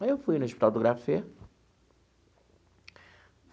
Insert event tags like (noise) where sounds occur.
Aí eu fui no Hospital do. (unintelligible)